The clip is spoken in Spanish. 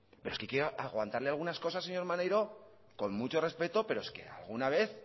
pero es que hay que aguantarle algunas cosas señor maneiro con mucho respeto pero es que alguna vez